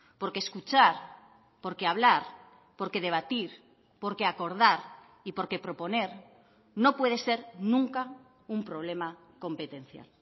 porque escuchar porque hablar porque debatir porque acordar y porque proponer no puede ser nunca un problema competencial